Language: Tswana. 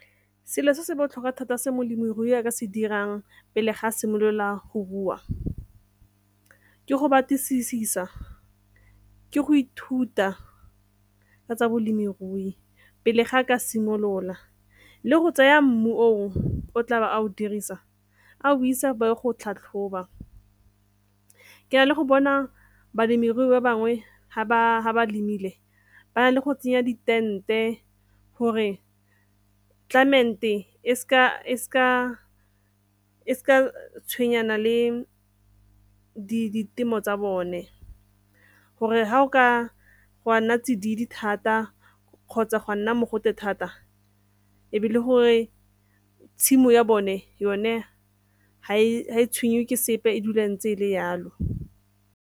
Selo se se botlhokwa thata se molemirui a ka se dirang pele ga a simolola go rua ke go batlisisa, ke go ithuta ka tsa bolemirui pele ga a ka simolola le go tseya mmu o tlabe a o dirisa a o isa ba ye go tlhatlhoba. Ke na le go bona balemirui ba bangwe ga ba lemile ba na le go tsenya di-tent-e gore climate e sa tshwenyana le ditemo tsa bone gore ha o ka go ka nna tsididi thata kgotsa gwa nna mogote thata e be le gore tshimo ya bone yone ga e tshwenye ke sepe e dula e ntse e le yalo.